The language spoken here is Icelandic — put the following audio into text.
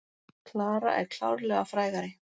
Klara er klárlega frægari.